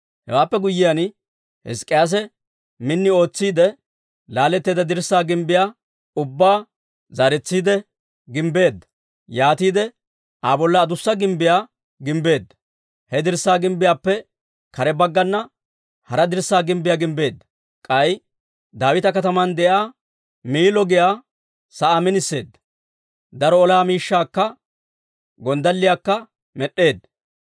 Hewaappe guyyiyaan, Hizk'k'iyaase min ootsiide, laaletteedda dirssaa gimbbiyaa ubbaa zaaretsiide gimbbeedda; yaatiide Aa bolla adussa gimbbiyaa gimbbeedda. He dirssaa gimbbiyaappe kare baggana hara dirssaa gimbbiyaa gimbbeedda; k'ay Daawita Kataman de'iyaa Miillo giyaa sa'aa miniseedda. Daro ola miishshaakka gonddalliyaakka med'd'eedda.